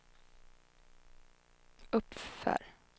uppför